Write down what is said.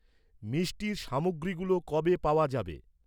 মিষ্টির সামগ্রীগুলো কবে পাওয়া যাবে?